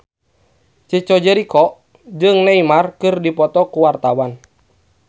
Chico Jericho jeung Neymar keur dipoto ku wartawan